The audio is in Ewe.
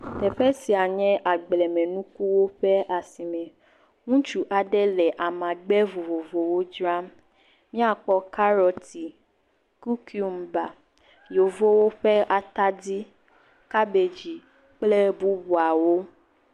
Teƒe sia nye agblemenukuwo ƒe asime, ŋutsu aɖe le amagbe vovovowo dzram, míakpɔ karɔt, kukumba, yevuwo ƒe atadi, kabedzi kple bubuawo.